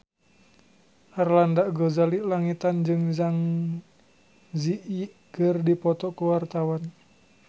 Arlanda Ghazali Langitan jeung Zang Zi Yi keur dipoto ku wartawan